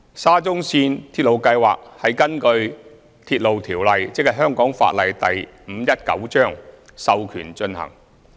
沙中線鐵路計劃是根據《鐵路條例》授權進行。